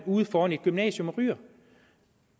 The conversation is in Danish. uden for et gymnasium og ryger